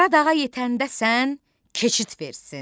Qaradağa yetəndə sən keçid versin.